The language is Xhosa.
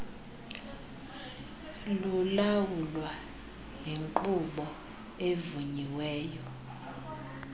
lulawulwa yonkqubo evunyiweyo